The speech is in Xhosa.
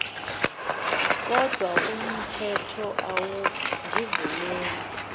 kodwa umthetho awundivumeli